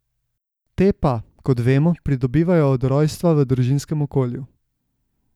Te pa, kot vemo, pridobivajo od rojstva v družinskem okolju.